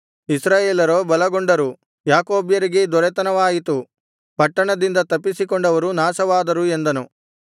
ಇಸ್ರಾಯೇಲರೋ ಬಲಗೊಂಡವರು ಯಾಕೋಬ್ಯರಿಗೇ ದೊರೆತನವಾಯಿತು ಪಟ್ಟಣಗಳಿಂದ ತಪ್ಪಿಸಿಕೊಂಡವರೂ ನಾಶವಾದರು ಎಂದನು